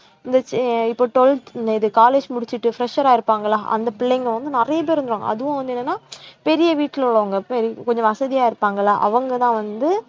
இந்த சே~ இப்ப twelfth இந்த இது college முடிச்சிட்டு fresher ஆ இருப்பாங்களா அந்த பிள்ளைங்க வந்து நிறைய பேர் இருந்தாங்க அதுவும் வந்து என்னன்னா பெரிய வீட்டிலே உள்ளவங்க பெரி~ கொஞ்சம் வசதியா இருப்பாங்கல்ல அவங்கதான் வந்து